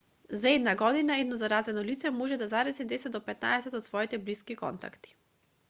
за една година едно заразено лице може да зарази 10 до 15 од своите блиски контакти